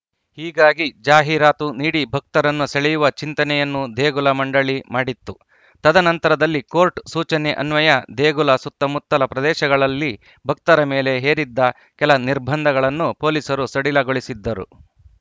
ಹೀಗಾಗಿ ಜಾಹೀರಾತು ನೀಡಿ ಭಕ್ತರನ್ನು ಸೆಳೆಯುವ ಚಿಂತನೆಯನ್ನೂ ದೇಗುಲ ಮಂಡಳಿ ಮಾಡಿತ್ತು ತದನಂತರದಲ್ಲಿ ಕೋರ್ಟ್‌ ಸೂಚನೆ ಅನ್ವಯ ದೇಗುಲ ಸುತ್ತಮುತ್ತಲ ಪ್ರದೇಶಗಳಲ್ಲಿ ಭಕ್ತರ ಮೇಲೆ ಹೇರಿದ್ದ ಕೆಲ ನಿರ್ಬಂಧಗಳನ್ನು ಪೊಲೀಸರು ಸಡಿಲಗೊಳಿಸಿದ್ದರು